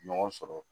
Ɲɔgɔn sɔrɔ